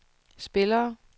spillere